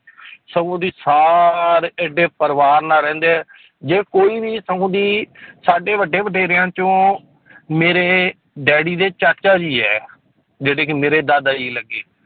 ਸਗੋਂ ਦੀ ਸਾਰੇ ਇੱਡੇ ਪਰਿਵਾਰ ਨਾਲ ਰਹਿੰਦੇ ਹੈ ਜੇ ਕੋਈ ਵੀ ਸਗੋਂ ਦੀ ਸਾਡੇ ਵੱਡੇ ਵਡੇਰਿਆਂ ਚੋਂ ਮੇਰੇ ਡੈਡੀ ਦੇ ਚਾਚਾ ਜੀ ਹੈ ਜਿਹੜੇ ਕਿ ਮੇਰੇ ਦਾਦਾ ਜੀ ਲੱਗੇ